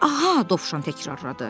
Aha, Dovşan təkrarladı.